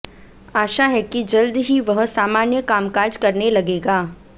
आशा है कि जल्दी ही वह सामान्य कामकाज करने लगेगा